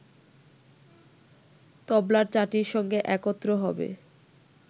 তবলার চাটির সঙ্গে একত্র হবে